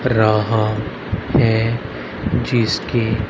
रहा है जिसके--